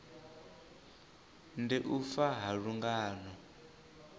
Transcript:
ndi u fa ha lungano